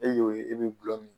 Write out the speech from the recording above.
E y'o ye e ni bɛ